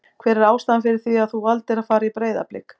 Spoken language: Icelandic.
Hver er ástæðan fyrir því að þú valdir að fara í Breiðablik?